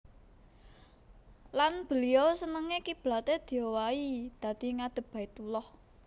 Lan beliau seneng kiblaté diowahi dadi ngadhep Baitullah